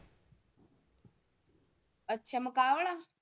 ਅੱਛਾ ਮੁਕਾਬਲਾ।